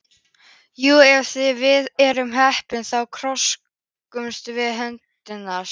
Jú, ef við erum heppin þá þroskumst við sem höfundar.